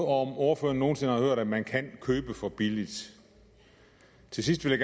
om ordføreren nogen sinde har hørt at man kan købe for billigt til sidst vil